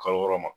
Kalo wɔɔrɔ ma